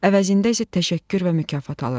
əvəzində isə təşəkkür və mükafat alır.